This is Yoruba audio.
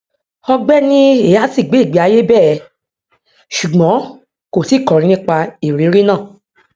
ọgbẹni eazi gbé ìgbéayé bẹẹ ṣùgbọn kò tíì kọrin nípa ìrírí náà